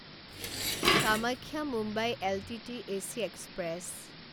Kamakhya Mumbai L T T AC express